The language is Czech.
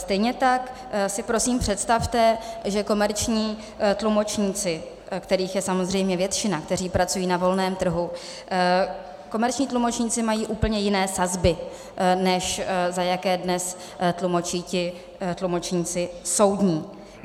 Stejně tak si prosím představte, že komerční tlumočníci, kterých je samozřejmě většina, kteří pracují na volném trhu, komerční tlumočníci mají úplně jiné sazby, než za jaké dnes tlumočí ti tlumočníci soudní.